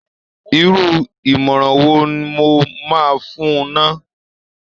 Irú ìmọ̀ràn wo nl mo máa fún un ná!